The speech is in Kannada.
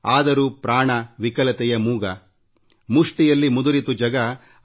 ಆದರೆ ಆತ್ಮ ಶ್ರಮರಹಿತ ಹಕ್ಕಿಯಾಗಿದೆಯಲ್ಲ